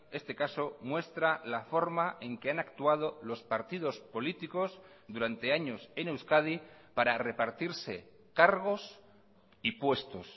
este caso muestra la forma en que han actuado los partidos políticos durante años en euskadi para repartirse cargos y puestos